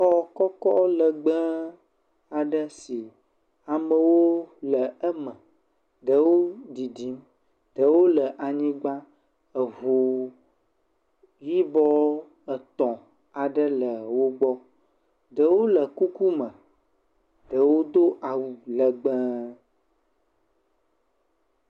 Xɔ kɔkɔ legbe aɖe si amewo le eme. Ɖewo ɖiɖim, ɖewo le anygba. Eŋu yibɔ etɔ̃ aɖe le wo gbɔ. Ɖewo le kuku me, ɖewo do awu legbe.